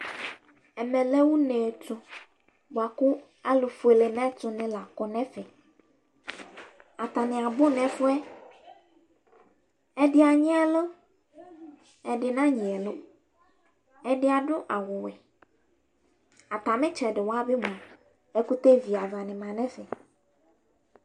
Ɛmɛ lɛ une tʋ bʋa kʋ alʋfuele nʋ ɛtʋnɩ la kɔ nʋ ɛfɛ Atanɩ abʋ nʋ ɛfʋ yɛ Ɛdɩ anyɩ ɛlʋ, ɛdɩ nanyɩ ɛlʋ Ɛdɩ adʋ awʋwɛ Atamɩ ɩtsɛdɩ wa bɩ mʋa, ɛkʋtɛ viavanɩ ma nʋ ɛfɛ